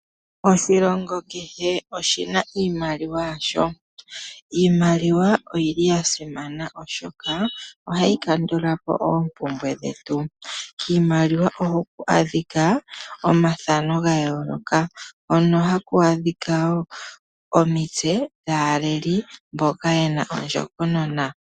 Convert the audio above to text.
Oshilongo kehe oshina iimaliwa yasho. Iimaliwa oyili yasimana oshoka ohayi kandulapo oompumbwe dhetu. Kiimaliwa ohaku adhika omathano gayooloka hono haku adhika wo omitse dhaaleli mboka yena ondjokonona.